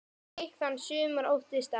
Gikk þann sumir óttast æ.